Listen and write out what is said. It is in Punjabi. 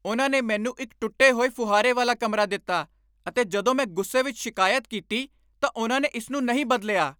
ਉਹਨਾਂ ਨੇ ਮੈਨੂੰ ਇੱਕ ਟੁੱਟੇ ਹੋਏ ਫੁਹਾਰੇ ਵਾਲਾ ਕਮਰਾ ਦਿੱਤਾ ਅਤੇ ਜਦੋਂ ਮੈਂ ਗੁੱਸੇ ਵਿੱਚ ਸ਼ਿਕਾਇਤ ਕੀਤੀ ਤਾਂ ਉਹਨਾਂ ਨੇ ਇਸ ਨੂੰ ਨਹੀਂ ਬਦਲਿਆ।